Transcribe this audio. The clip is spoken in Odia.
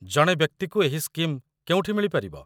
ଜଣେ ବ୍ୟକ୍ତିକୁ ଏହି ସ୍କିମ୍ କେଉଁଠି ମିଳିପାରିବ?